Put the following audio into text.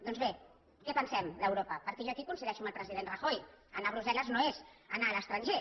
doncs bé què pensem d’europa perquè jo aquí coincideixo amb el president rajoy anar a brussel·les no és anar a l’estranger